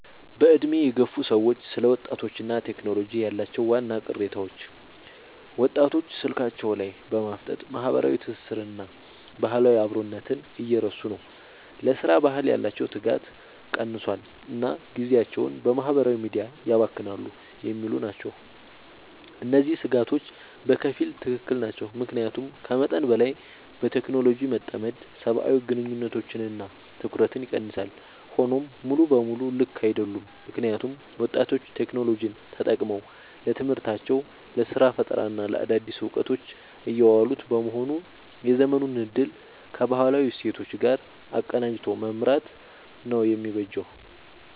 በዕድሜ የገፉ ሰዎች ስለ ወጣቶችና ቴክኖሎጂ ያላቸው ዋና ቅሬታዎች፦ ወጣቶች ስልካቸው ላይ በማፍጠጥ ማህበራዊ ትስስርንና ባህላዊ አብሮነትን እየረሱ ነው: ለሥራ ባህል ያላቸው ትጋት ቀንሷል: እና ጊዜያቸውን በማህበራዊ ሚዲያ ያባክናሉ የሚሉ ናቸው። እነዚህ ስጋቶች በከፊል ትክክል ናቸው። ምክንያቱም ከመጠን በላይ በቴክኖሎጂ መጠመድ ሰብአዊ ግንኙነቶችንና ትኩረትን ይቀንሳል። ሆኖም ሙሉ በሙሉ ልክ አይደሉም: ምክንያቱም ወጣቶች ቴክኖሎጂን ተጠቅመው ለትምህርታቸው: ለስራ ፈጠራና ለአዳዲስ እውቀቶች እያዋሉት በመሆኑ የዘመኑን እድል ከባህላዊ እሴቶች ጋር አቀናጅቶ መምራት ነው የሚበጀው።